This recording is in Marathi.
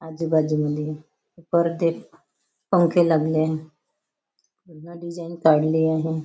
आजूबाजूने परदे पंखे लागले आहे पूर्ण डिज़ाइन काढली आहे.